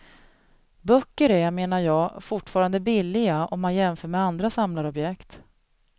Böcker är, menar jag, fortfarande billiga om man jämför med andra samlarobjekt.